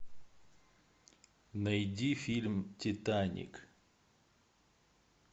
найди фильм титаник